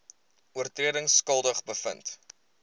oortredings skuldig bevind